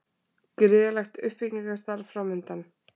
Gríðarlegt uppbyggingarstarf framundan